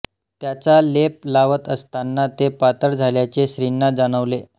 त्याचा लेप लावत असताना ते पातळ झाल्याचे श्रींना जाणवले